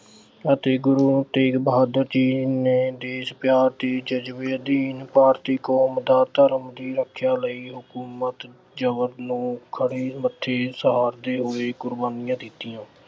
ਅਤੇ ਗੁਰੂ ਤੇਗ ਬਹਾਦੁਰ ਜੀ ਨੇ ਦੇਸ਼ ਪਿਆਰ ਦੇ ਜਜ਼ਬੇ ਅਧੀਨ ਭਾਰਤੀ ਕੌਮ ਦਾ ਧਰਮ ਦੀ ਰੱਖਿਆ ਲਈ ਹਕੂਮਤ ਜ਼ਬਰ ਨੂੰ ਖਿੜੇ ਮੱਥੇ ਸਹਾਰਦੇ ਹੋਏ ਕੁਰਬਾਨੀਆਂ ਦਿੱਤੀਆਂ।